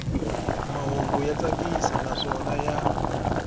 mahungu ya tsakisa naswona ya